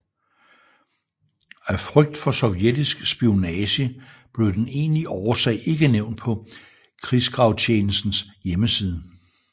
At frygt for sovjetisk spionage blev den egentlige årsag ikke nævnt på Krigsgravtjenestens hjemmeside